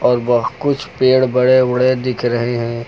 और वह कुछ पेड़ बड़े बड़े दिख रहे हैं।